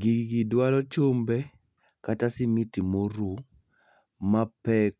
Gigi dwaro chumbe kata simiti moruw mapek